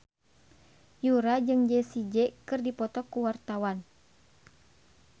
Yura jeung Jessie J keur dipoto ku wartawan